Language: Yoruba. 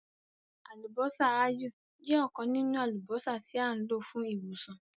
“Àlùbọ́sà ááyù” jẹ́ ọ̀kan nínú àlùbọ́sà tí à ń lò fún ìwòsàn.